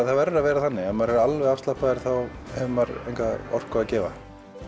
það verður að vera þannig ef maður er alveg afslappaður þá hefur maður enga orku að gefa